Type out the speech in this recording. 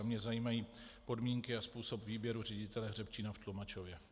A mě zajímají podmínky a způsob výběru ředitele hřebčína v Tlumačově.